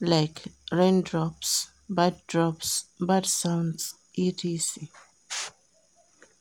like raindrops, bird sounds etc